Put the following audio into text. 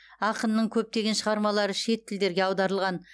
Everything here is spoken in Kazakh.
ақынның көптеген шығармалары шет тілдерге аударылған